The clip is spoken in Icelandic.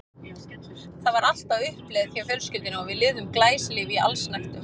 Það var allt á uppleið hjá fjölskyldunni og við lifðum glæsilífi í allsnægtum.